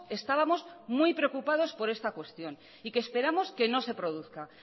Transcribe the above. estábamos muy preocupados por esta cuestión y que esperamos que no se produzca